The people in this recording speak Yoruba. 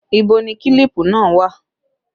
Ìbò ni kílípù náà wà?